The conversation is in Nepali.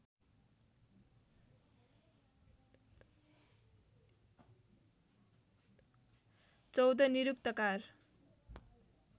१४ निरुक्तकार